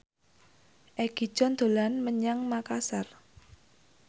Egi John dolan menyang Makasar